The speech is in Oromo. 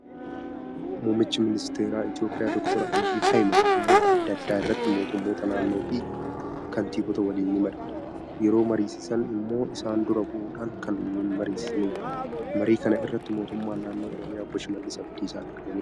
Muummichi ministeeraa Itoophiyaa doctor Abiyyi Ahimad dhimmoota adda addaa irratti mootummoota naannoo fi kaantiboota waliin ni mari'atu. Yeroo mariisisan immoo isaan dura bu'uudhaan kan mariisisanidha. Marii kana irratti mootummaan naannoo Oromiyaa Obbo Shimallis Abdiisaa argamaniiru.